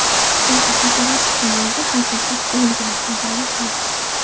Chunki Hazorasp tumanida haqiqat o‘lgan, adolat yo‘q.